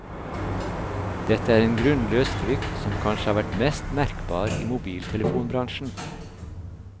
Dette er en grunnløs frykt som kanskje har vært mest merkbar i mobiltelefonbransjen.